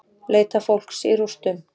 Leita fólks í rústum